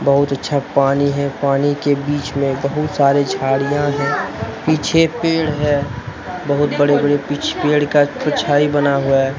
बहुत अच्छा पानी है पानी के बीच में बहुत सारे झाड़ियां है पीछे पेड़ है बहुत बड़े बड़े पीछे पेड़ का परछाई बना हुआ है।